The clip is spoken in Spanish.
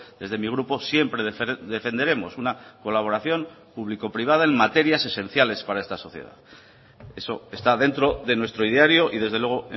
desde mi grupo siempre defenderemos una colaboración público privada en materias esenciales para esta sociedad eso está dentro de nuestro ideario y desde luego